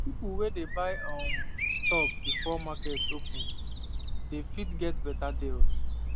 people wey dey buy um stock before market open dey fit get better deals